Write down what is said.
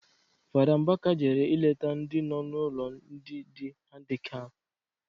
Fada Mbaka jere ileta ndị nọ n'ụlọ ndị dị handikap